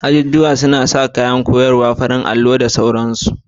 Azuzuwan suna sanye da kayan koyarwa irin su farin allo, allo, da sauransu